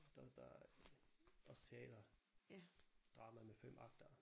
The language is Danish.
Der der også taler drama med 5 akter